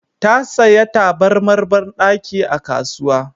Ta saya tabarmar banɗaki a kasuwa